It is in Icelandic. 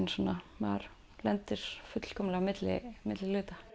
maður lendir fullkomlega á milli milli hluta